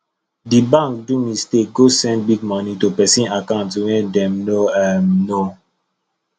di bank do mistake go send big money to person account wey dem no um know